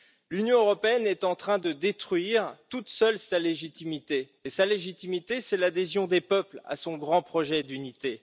L'Union européenne est en train de détruire toute seule sa légitimité, et sa légitimité, c'est l'adhésion des peuples à son grand projet d'unité.